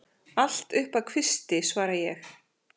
Allt upp að kvisti, svara ég.